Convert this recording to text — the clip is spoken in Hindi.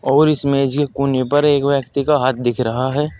और इस मेज के कोने पर एक व्यक्ति का हाथ दिख रहा है।